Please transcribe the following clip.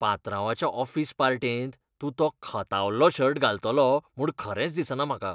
पात्रांवाच्या office पार्टेंत तूं तो खतावल्लो शर्ट घालतलो म्हूण खरेंच दिसना म्हाका.